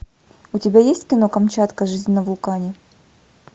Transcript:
у тебя есть кино камчатка жизнь на вулкане